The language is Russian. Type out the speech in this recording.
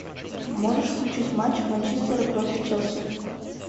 можешь включить матч манчестера против челси